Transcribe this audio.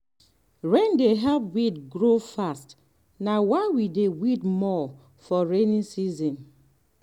rain dey help weed grow fast na why we dey weed more for rainy season.